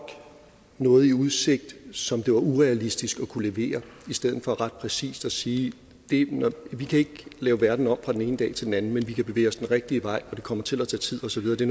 noget i udsigt som det var urealistisk at kunne levere i stedet for ret præcist at sige vi kan ikke lave verden om fra den ene dag til den anden men vi kan bevæge os den rigtige vej og det kommer til at tage tid og så videre det